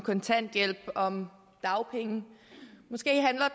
kontanthjælp om dagpenge